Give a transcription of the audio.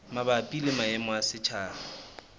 mabapi le maemo a setjhaba